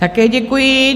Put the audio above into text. Také děkuji.